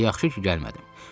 Elə yaxşı ki, gəlmədim.